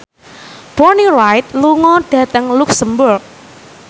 Bonnie Wright lunga dhateng luxemburg